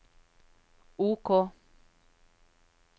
OK